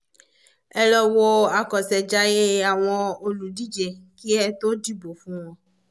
ẹ lọ wo àkọ́ṣejayé àwọn olùdíje kí ẹ tó dìbò fún wọn